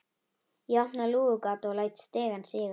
Ég opna lúgugatið og læt stigann síga.